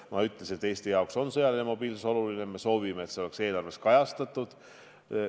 Ma ütlesin, et Eesti jaoks on sõjaline mobiilsus oluline ja me soovime, et see oleks eelarves kajastatud.